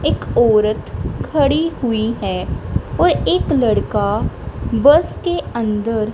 एक औरत खड़ी हुई है और एक लड़का बस के अंदर--